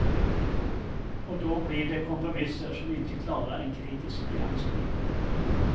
Och då blir det kompromisser som inte klarar en kritisk granskning.